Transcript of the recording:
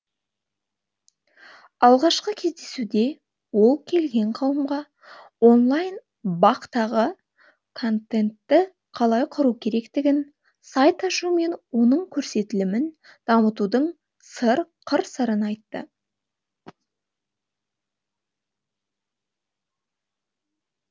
алғашқы кездесуде ол келген қауымға онлайн бақ тағы контентті қалай құру керектігін сайт ашу мен оның көрсетілімін дамытудың қыр сырын айтты